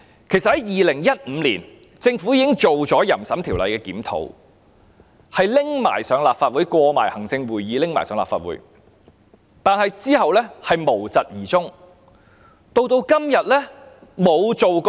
其實，在2015年，政府已檢討《淫褻及不雅物品管制條例》，而有關建議已通過行政會議，並提交立法會，但其後卻無疾而終。